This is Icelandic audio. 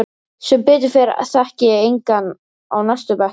Sem betur fer þekki ég engan á næstu bekkjum.